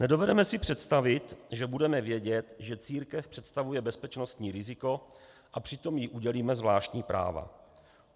Nedovedeme si představit, že budeme vědět, že církev představuje bezpečnostní riziko, a přitom jí udělíme zvláštní práva.